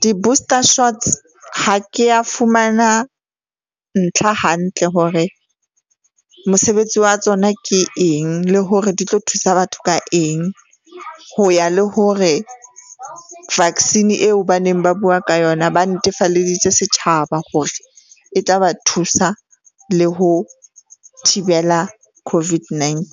Di-booster shots ha ke a fumana ntlha hantle hore mosebetsi wa tsona ke eng, le hore di tlo thusa batho ka eng ho ya le hore vaccine eo ba neng ba bua ka yona, ba netefalleditse setjhaba hore e tla ba thusa le ho thibela COVID-19.